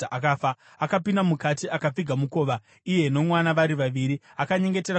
Akapinda mukati, akapfiga mukova iye nomwana vari vaviri, akanyengetera kuna Jehovha.